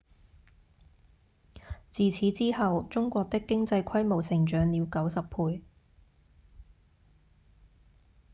自此之後中國的經濟規模成長了90倍